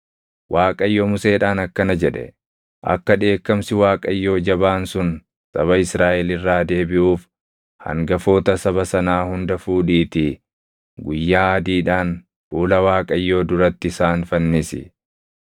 Waaqayyo Museedhaan akkana jedhe; “Akka dheekkamsi Waaqayyoo jabaan sun saba Israaʼel irraa deebiʼuuf, hangafoota saba sanaa hunda fuudhiitii guyyaa adiidhaan fuula Waaqayyoo duratti isaan fannisi.”